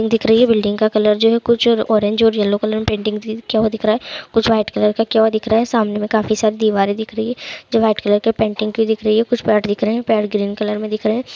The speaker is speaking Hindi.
दिख रही है बिल्डिंग का कलर जो है कुछ ओरेंज और येलो कलर पेन्टिंग थी किया हुआ दिख रहा है कुछ वाइट कलर का किया हुआ दिख रहा है सामने मे काफी सारी दिवारे दिख रही है जो वाइट कलर के पेन्टिंग की दिख रही है कुछ पेड़ दिख रहे है पेड़ ग्रीन कलर में दिख रहे हैं ।